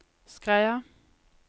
Skreia